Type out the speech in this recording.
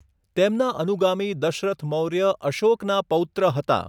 તેમના અનુગામી દશરથ મૌર્ય અશોકનાં પૌત્ર હતાં.